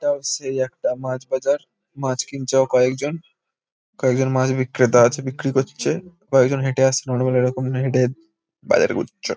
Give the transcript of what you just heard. এটাও সেই একটা মাছ বাজার। মাছ কিনছে ও কয়েকজন। কয়েকজন মাছ বিক্রেতা আছে। বিক্রি করছে। কয়েকজন হেঁটে আসছে। হেঁটে বাজার করছে।